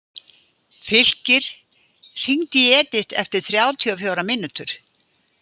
Fylkir, hringdu í Edith eftir þrjátíu og fjórar mínútur.